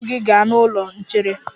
Buru ibu gi ga n'ụlọ nchere!